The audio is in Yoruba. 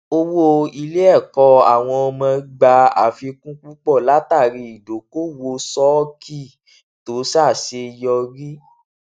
owó iléẹkọ àwọn ọmọ gbà àfikún púpọ látàrí ìdókòòwò ṣọọkì tó ṣàṣeyọrí